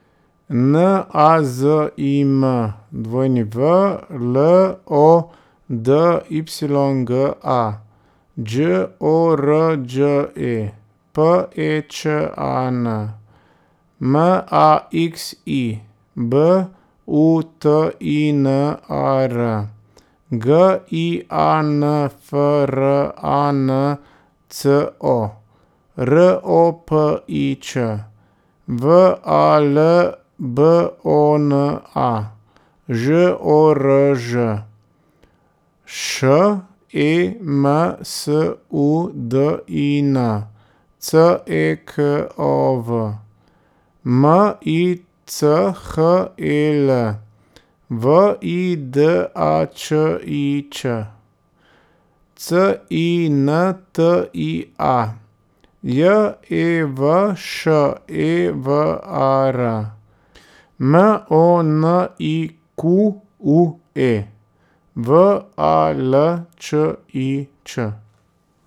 N A Z I M, W L O D Y G A; Đ O R Đ E, P E Č A N; M A X I, B U T I N A R; G I A N F R A N C O, R O P I Č; V A L B O N A, Ž O R Ž; Š E M S U D I N, C E K O V; M I C H E L, V I D A Č I Ć; C I N T I A, J E V Š E V A R; M O N I Q U E, V A L Č I Ć.